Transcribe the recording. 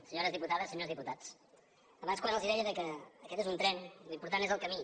senyores diputades senyors diputats abans quan els deia que aquest és un tren l’important és el camí